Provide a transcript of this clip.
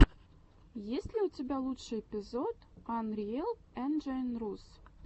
есть ли у тебя лучший эпизод анриэл энджайн рус